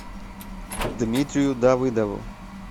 дмитрию давыдову